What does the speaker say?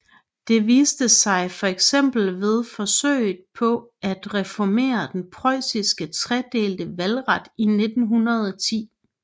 Det viste sig fx ved forsøget på at reformere den preussiske tredelte valgret i 1910